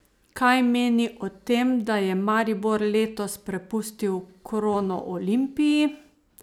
Kaj meni o tem, da je Maribor letos prepustil krono Olimpiji?